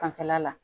Fanfɛla la